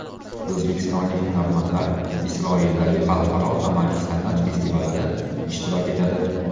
O‘zbekistonlik hunarmandlar Isroildagi xalqaro amaliy san’at festivalida ishtirok etadi.